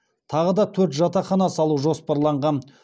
тағы да төрт жатақхана салу жоспарланған